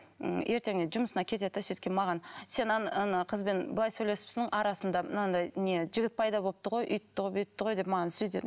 м ертеніңде жұмысына кетеді де кейін маған сен ана ана қызбен былай сөйлесіпсің арасында мынадай не жігіт пайда болыпты ғой өйтіпті ғой бүйтіпті ғой деп маған